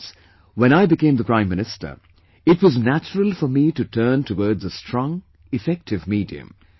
Hence when I became the Prime Minister, it was natural for me to turn towards a strong, effective medium